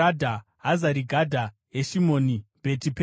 Hazari Gadha, Heshimoni, Bheti Pereti,